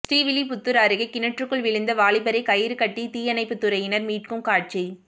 ஸ்ரீவில்லிபுத்தூர் அருகே கிணற்றுக்குள் விழுந்த வாலிபரை கயிறு கட்டி தீயணைப்புத்துறையினர் மீட்கும் காட்சி